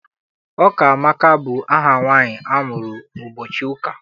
Ụkamaka bụ aha nwaanyị amụrụ ụbọchị ụka.